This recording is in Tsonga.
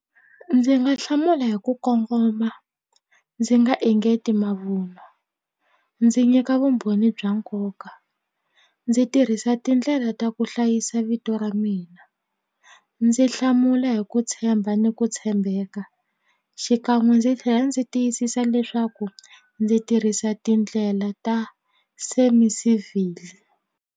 Ndzi nga hlamula hi ku kongoma ndzi nga engeti mavunwa ndzi nyika vumbhoni bya nkoka ndzi tirhisa tindlela ta ku hlayisa vito ra mina ndzi hlamula hi ku tshemba ni ku tshembeka xikan'we ndzi tlhela ndzi tiyisisa leswaku ndzi tirhisa tindlela ta semi civil.